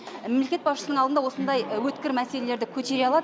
мемлекет басшысының алдында осындай өткір мәселелерді көтере алады